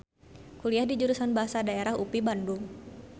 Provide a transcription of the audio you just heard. Kuliah di Jurusan Bahasa Daerah UPI Bandung.